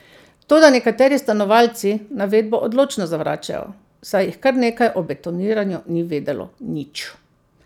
Toda nekateri stanovalci navedbo odločno zavračajo, saj jih kar nekaj o betoniranju ni vedelo nič.